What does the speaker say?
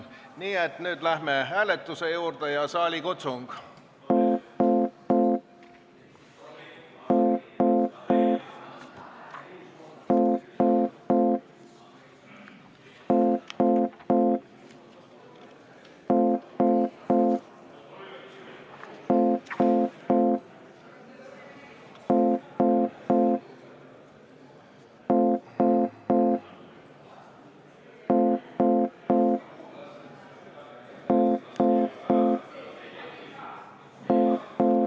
Nii et nüüd läheme hääletuse juurde, annan saalikutsungi.